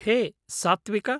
हे सात्त्विक!